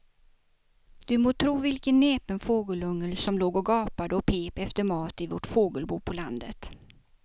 Du må tro vilken näpen fågelunge som låg och gapade och pep efter mat i vårt fågelbo på landet.